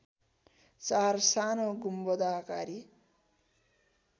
चार सानो गुम्बदाकारी